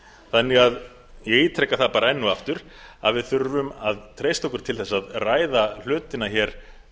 þannig að ég ítreka það bara enn og aftur að við þurfum að treysta okkur til þess að ræða hlutina hér